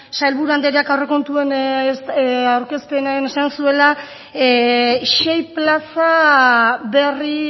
sailburu andreak aurrekontuen aurkezpenean esan zuela sei plaza berri